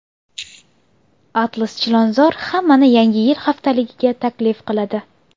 Atlas Chilonzor hammani Yangi yil haftaligiga taklif qiladi!.